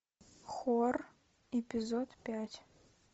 хор эпизод пять